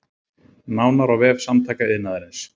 Nánar á vef Samtaka iðnaðarins